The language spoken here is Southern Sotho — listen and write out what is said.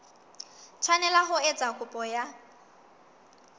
tshwanela ho etsa kopo ya